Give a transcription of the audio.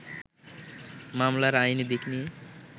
মামলার আইনি দিক নিয়ে